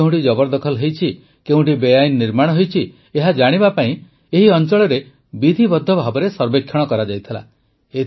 କେଉଁଠି କେଉଁଠି ଜବରଦଖଲ ହୋଇଛି କେଉଁଠି ବେଆଇନ ନିର୍ମାଣ ହୋଇଛି ଏହା ଜାଣିବା ପାଇଁ ଏହି ଅଂଚଳରେ ବିଧିବଦ୍ଧ ଭାବେ ସର୍ବେକ୍ଷଣ କରାଯାଇଥିଲା